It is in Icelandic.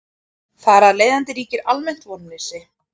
Þar af leiðandi ríkir almennt vonleysi.